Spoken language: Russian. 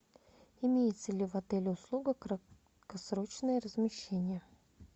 имеется ли в отеле услуга краткосрочное размещение